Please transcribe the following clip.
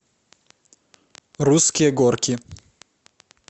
русские горки